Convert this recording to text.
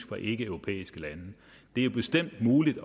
fra ikkeeuropæiske lande det er bestemt muligt